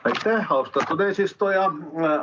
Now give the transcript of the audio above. Aitäh, austatud eesistuja!